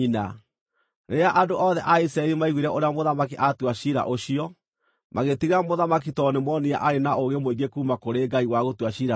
Rĩrĩa andũ othe a Isiraeli maiguire ũrĩa mũthamaki aatua ciira ũcio, magĩĩtigĩra mũthamaki tondũ nĩmoonire aarĩ na ũũgĩ mũingĩ kuuma kũrĩ Ngai wa gũtua ciira na kĩhooto.